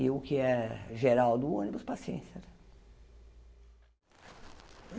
E o que é geral do ônibus, paciência.